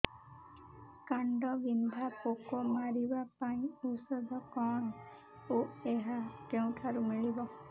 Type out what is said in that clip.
କାଣ୍ଡବିନ୍ଧା ପୋକ ମାରିବା ପାଇଁ ଔଷଧ କଣ ଓ ଏହା କେଉଁଠାରୁ ମିଳିବ